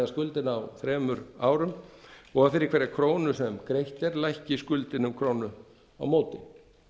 skuldina á þremur árum og að fyrir hverja krónu sem greitt er lækki skuldin um krónu á móti